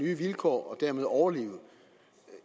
nye vilkår og dermed overleve